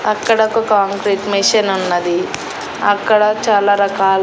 అక్కడ ఒక concrete machine ఉన్నది అక్కడ చాలా రకాల.